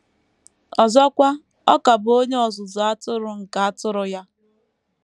Ọzọkwa, ọ ka bụ Onye Ọzụzụ Atụrụ nke atụrụ ya.